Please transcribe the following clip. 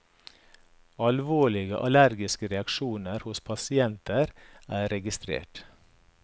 Alvorlige allergiske reaksjoner hos pasienter er registrert.